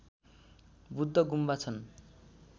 बुद्ध गुम्बा छन्